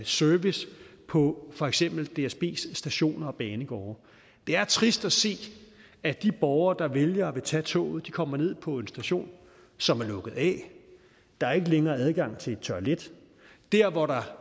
service på for eksempel dsbs stationer og banegårde det er trist at se at de borgere der vælger at tage toget kommer ned på en station som er lukket af der er ikke længere adgang til et toilet der hvor der